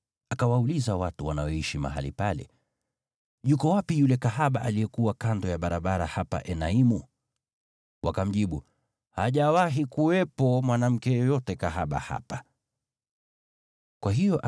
Akawauliza watu wanaoishi mahali pale, “Yuko wapi yule kahaba wa mahali pa kuabudia miungu aliyekuwa kando ya barabara hapa Enaimu?” Wakamjibu, “Hajawahi kuwepo mwanamke yeyote kahaba wa mahali pa kuabudia miungu hapa.”